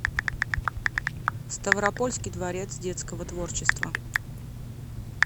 ставропольский дворец детского творчества